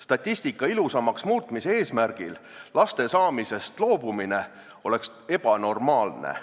Statistika ilusamaks muutmise eesmärgil laste saamisest loobumine oleks ebanormaalne.